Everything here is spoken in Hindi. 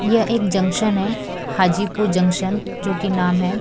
यह एक जंक्शन है हाजीपुर जंक्शन जो कि नाम है।